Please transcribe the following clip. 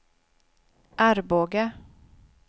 Arboga